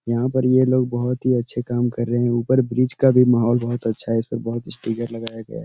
यहाँ पर ये लोग बोहोत ही अच्छे काम कर रहे हैं। ऊपर ब्रिज का भी माहौल बोहोत अच्छा है। इस पर बहुत स्टीगर लगाया गया --